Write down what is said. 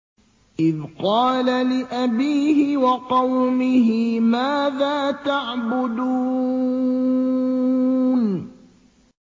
إِذْ قَالَ لِأَبِيهِ وَقَوْمِهِ مَاذَا تَعْبُدُونَ